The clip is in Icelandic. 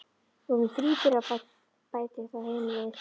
Við vorum þríburar, bætir þá hin við.